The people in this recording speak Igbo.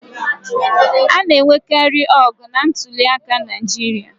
A na-enwekarị ọgụ na ntuliaka Naịjirịa.